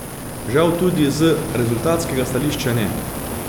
Žal tudi z rezultatskega stališča ne.